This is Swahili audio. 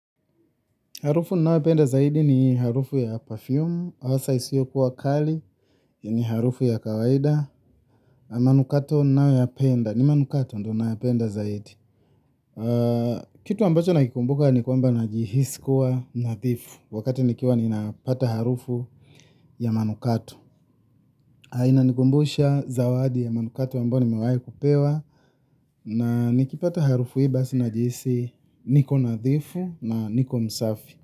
Harufu ninayoipenda zaidi ni harufu ya perfume, hasa isiyokuwa kali, ni harufu ya kawaida, na manukato ninayopenda. Ni manukato ndiyo ninayopenda zaidi. Kitu ambacho nakumbuka ni kuwamba najihisi kuwa nadhifu, wakati nikiwa napata harufu ya manukato na inanikumbusha zawadi ya manukato ambayo nimewahi kupewa na nikipata harufu hii basi najihisi niko nadhifu na niko msafi.